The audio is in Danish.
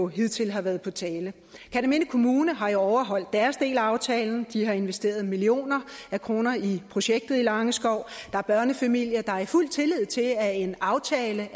hidtil har været på tale kerteminde kommune har jo overholdt deres del af aftalen de har investeret millioner af kroner i projektet i langeskov der er børnefamilier der i fuld tillid til at en aftale